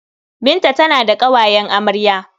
Binta tana da ƙawayen amarya.